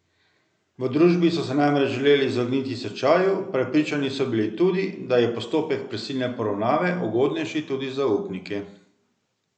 V družbi so se namreč želeli izogniti stečaju, prepričani so bili tudi, da je postopek prisilne poravnave ugodnejši tudi za upnike.